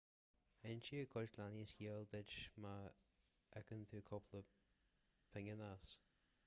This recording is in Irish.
inseoidh cuid leanaí scéal duit má íocann tú cúpla pingin as